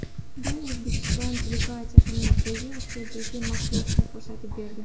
Bu O‘zbekiston delegatsiyasining Markaziy Osiyodagi mavqesini ko‘rsatib berdi.